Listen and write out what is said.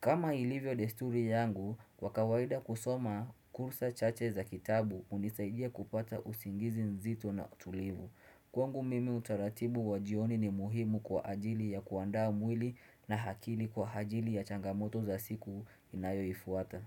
kama ilivyo desturi yangu, kwa kawaida kusoma kursa chache za kitabu unisaidia kupata usingizi nzito na tulivu Kwangu mimi utaratibu wa jioni ni muhimu kwa ajili ya kuandaa mwili na akili kwa ajili ya changamoto za siku inayo ifuata.